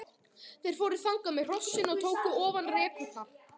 Þeir fóru þangað með hrossin og tóku ofan rekurnar.